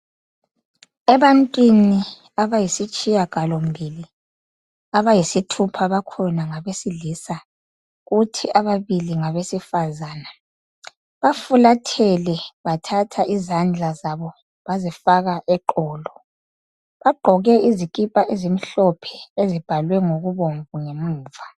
Ebantwini abayisitshiya galombili abayisithupha bakhona ngabesilisa kuthi ababili ngabesifazana bafulathele, bathatha izandla zabo bazifaka eqolo. Bagqoke izikipha ezimhlophe ezibhalwe ngokubomvu ngemuva